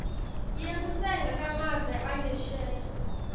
yekutsenga kumave angesheya